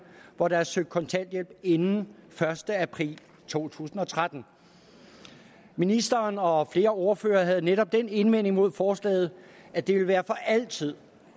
hvor der er søgt om kontanthjælp inden den første april to tusind og tretten ministeren og flere ordførere havde netop den indvending mod forslaget at det ville være for altid